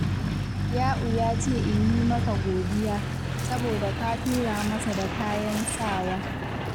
Ya’u ya ce in yi maka godiya, saboda ka tura masa da kayan sawa.